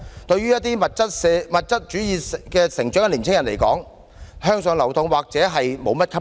對於在物質主義下成長的青年人，向上流動或許毫不吸引。